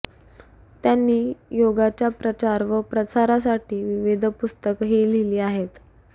त्यांनी योगाच्या प्रचार व प्रसारासाठी विविध पुस्तकही लिहिली आहेत